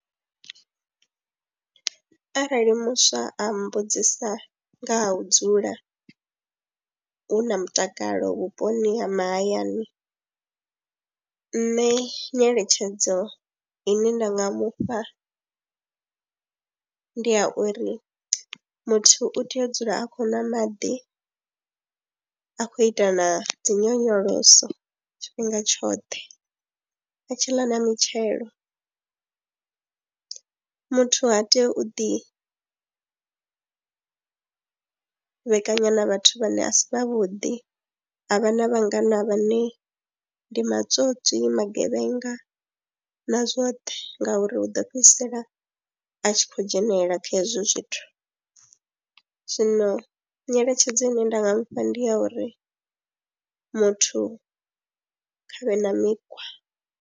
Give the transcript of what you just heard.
Arali muswa a mbudzisa nga u dzula hu na mutakalo vhuponi ha mahayani, nṋe nyeletshedzo ine nda nga mufha ndi ya uri muthu u tea u dzula a khou na maḓi, a khou ita na dzi nyonyoloso tshifhinga tshoṱhe, a tshi ḽa na mitshelo. Muthu ha tei u ḓivhekanya na vhathu vhane a si vhavhuḓi a vha na vhangana vhane ndi matswotswi, ndi magevhenga na zwoṱhe ngauri u ḓo fhedzisela a tshi khou dzhenelela kha hezwo zwithu. Zwino nyeletshedzo ine nda nga mu fha ndi ya uri muthu kha vhe na mikhwa.